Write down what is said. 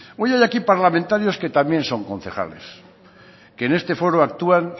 hoy hay aquí parlamentarios que también son concejales que en este foro actúan